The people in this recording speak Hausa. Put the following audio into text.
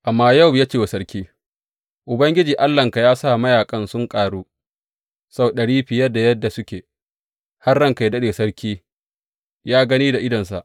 Amma Yowab ya ce wa sarki, Ubangiji Allahnka ya sa mayaƙan su ƙaru sau ɗari fiye da yadda suke, har ranka yă daɗe, sarki yă gani da idonsa.